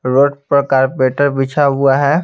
Road पर कार्पेटर बिछा हुआ है।